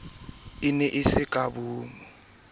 e ne e sa kgotsofatse